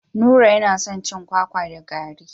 Nura yana son cin kwakwa da garri.